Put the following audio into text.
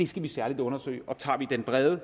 skal vi særlig undersøge og tager vi den brede